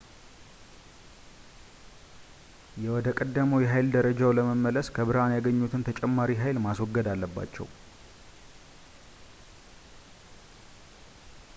ወደ ቀደመው የኃይል ደረጃቸው ለመመለስ ከብርሃን ያገኙትን ተጨማሪ ኃይል ማስወገድ አለባቸው